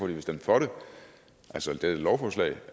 vil stemme for det altså dette lovforslag